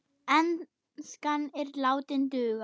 Enskan er látin duga.